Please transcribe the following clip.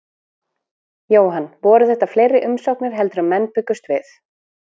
Jóhann, voru þetta fleiri umsóknir heldur en menn bjuggust við?